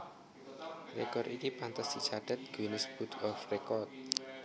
Rekor iki pantes dicathet Guinness Book of Record